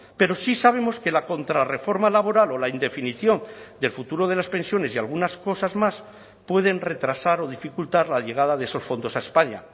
pero sí sabemos que la contrarreforma laboral o la indefinición del futuro de las pensiones y algunas cosas más pueden retrasar o dificultar la llegada de esos fondos a españa